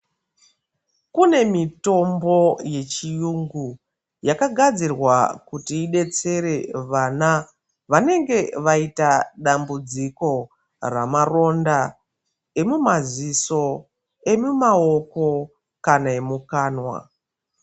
Kune mitombo yechiyungu yakagadzirwa kuti idetsere vana vanenge vaita dambudziko ramaronda emumaziso, emumaoko kana emukanwa.